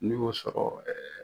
N'i y'o sɔrɔ